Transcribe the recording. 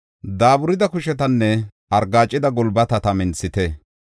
Daaburida kushetanne argaacida gulbatata minthite.